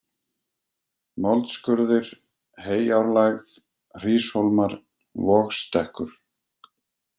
Moldskurðir, Heyárlægð, Hríshólmar, Vogsstekkur